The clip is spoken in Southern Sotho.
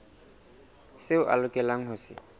seo a lokelang ho se